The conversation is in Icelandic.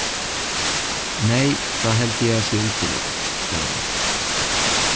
Nei, það held ég að sé útilokað, sagði hún.